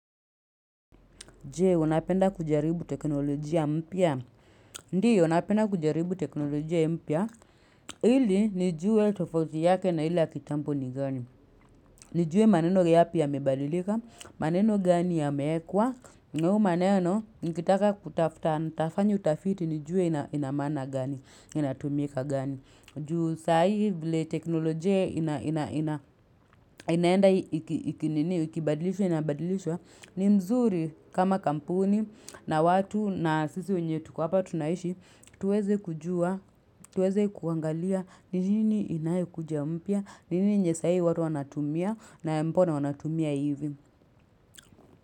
Je, unapenda kujaribu teknolojia mpya. Ndio, napenda kujaribu teknolojia mpya. Ili, nijue tofauti yake na ile na kitampo ni gani. Nijue maneno yapi yamebadilika, maneno gani yameekwa, na hayo maneno, nikitaka kutafta nitafanya utafiti, nijuwe ina maana gani, inatumika gani. Ju sa ii vile teknolojia ina ina ina inaenda ikibadilishwa, inabadilishwa, ni mzuri kama kampuni na watu na sisi wenye tuko hapa tunaishi tuweze kujua, tuweze kuangalia ni nini inayekuja mpya, ni nini yenye sai watu wanatumia na mpona wanatumia hivi.